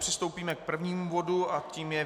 Přistoupíme k prvnímu bodu a tím je